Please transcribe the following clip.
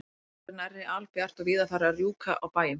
Það var orðið nærri albjart og víða farið að rjúka á bæjum.